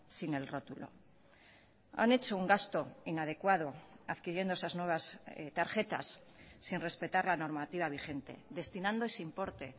sin el rótulo han hecho un gasto inadecuado adquiriendo esas nuevas tarjetas sin respetar la normativa vigente destinando ese importe